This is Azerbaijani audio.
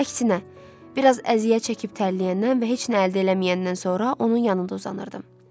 Əksinə, biraz əziyyət çəkib tərləyəndən və heç nə əldə eləməyəndən sonra onun yanında uzanırdım.